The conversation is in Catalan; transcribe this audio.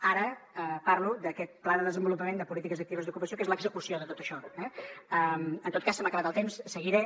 ara parlo d’aquest pla de desenvolupament de polítiques actives d’ocupació que és l’execució de tot això eh en tot cas se m’ha acabat el temps seguiré